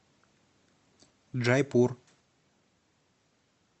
джайпур